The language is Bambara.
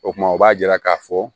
O kuma o b'a yira k'a fɔ